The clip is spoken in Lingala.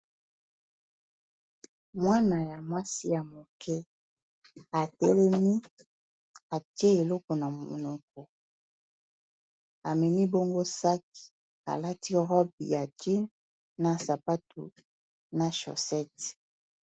Mwana ya mwasi ya moke atelemi atie eloko na monoko ameni bongo sac alati robe ya jeans na sapatu na shosete.